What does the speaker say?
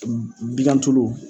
Bigantulu